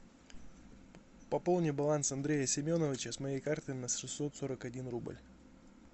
пополни баланс андрея семеновича с моей карты на шестьсот сорок один рубль